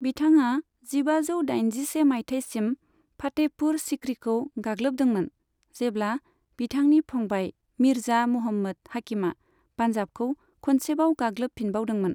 बिथाङा जिबाजौ दाइनजिसे माइथायसिम फातेहपुर सिक्रिखौ गाग्लोबदोंमोन, जेब्ला बिथांनि फंबाय मिर्जा मुहम्मद हाकिमा पान्जाबखौ खनसेबाव गाग्लोबफिनबावदोंमोन।